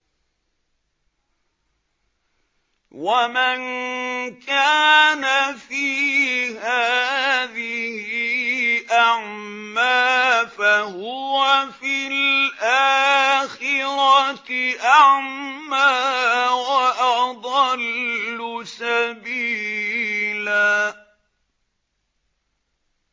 وَمَن كَانَ فِي هَٰذِهِ أَعْمَىٰ فَهُوَ فِي الْآخِرَةِ أَعْمَىٰ وَأَضَلُّ سَبِيلًا